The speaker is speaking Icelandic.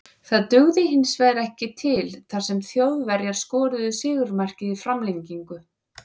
Það dugði hinsvegar ekki til þar sem Þjóðverjar skoruðu sigurmarkið í framlengingu.